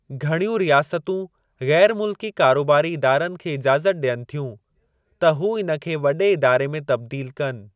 घणियूं रियासतूं ग़ैरु मुल्की कारोबारी इदारनि खे इजाज़त ॾियनि थियूं त हू इन खे वॾे इदारे में तब्दील कनि।